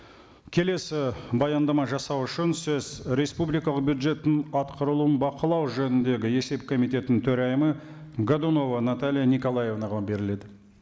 келесі баяндама жасау үшін сөз республикалық бюджеттің атқарылуын бақылау жөніндегі есеп комитетінің төрайымы годунова наталья николаевнаға беріледі